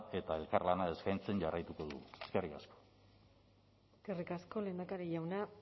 eta elkarlana eskaintzen jarraituko dugu eskerrik asko eskerrik asko lehendakari jauna